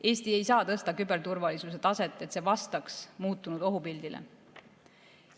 Eesti ei saa tõsta küberturvalisuse taset, et see vastaks muutunud ohupildile.